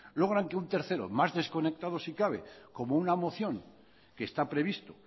logran que un tercero más desconectado si cabe como una moción que está previsto